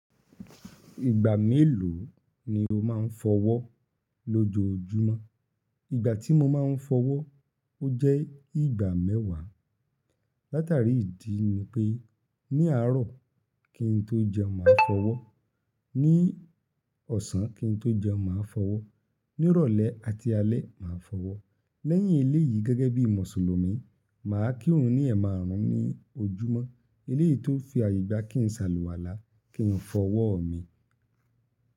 Ìgbà mélòó ni o máa ń fọwọ́ lójoojúmọ́? Ìgbà tí mo máa ń fọwọ́, ó jẹ́ ìgbà mẹ́wàá. Látàrí ìdí ni pé ní àárọ̀ kí n tó jẹun máa fọwọ́, ní ọ̀sán kí n tó jẹun màá fọwọ́, ní ìrọ̀lẹ́ àti alẹ́ màá fọwọ́. Lẹ́yìn eléyìí gẹ́gẹ́ bí Mùsùlùmí, màá kírun ní ẹ̀ márùn-ún ní ojúmọ́. Eléyìí tó fi àyè gbá kí n salùwàlá, kí n fọwọ́ mi.